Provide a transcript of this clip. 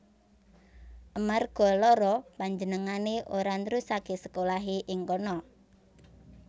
Amarga lara panjenengané ora nrusaké sekolahé ing kana